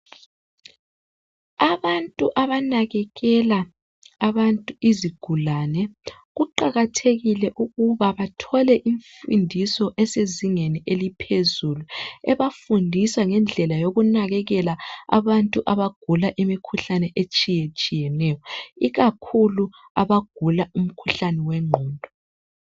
abantu abanakekela abantu izigulane kuqakathekile ukuba bathole imfundiso esezingeni eliphezulu ebafundisa ngendlela yokunakekela abantu abagula imikhuhlane etshiyetshiyeneyo ikakhulu abagula umkhuhlane wenqondo